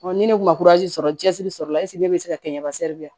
ni ne kun ma sɔrɔ cɛsiri sɔrɔ la ne bɛ se ka kɛ n ka